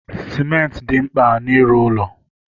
Sementị dị mkpa n'ịrụ ụlọ